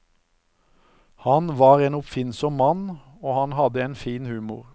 Han var en oppfinnsom mann, og han hadde en fin humor.